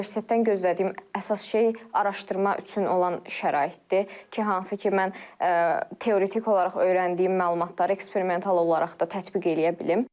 Universitetdən gözlədiyim əsas şey araşdırma üçün olan şəraitdir ki, hansı ki, mən teoritik olaraq öyrəndiyim məlumatları eksperimental olaraq da tətbiq eləyə bilim.